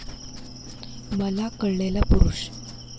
मला कळलेला पुरूष.